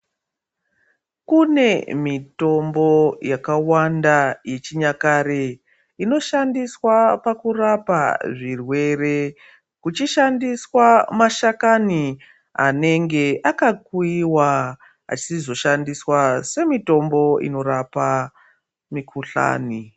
Kune mitombo yakawanda yechinyakare inoshandiswe pakurapa zvirwere kuchishandiswaashakani anenge akuiwa achizoshandiswa mitombo unorapa mikuhlani